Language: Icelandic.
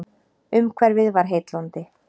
Umhverfið var heillandi.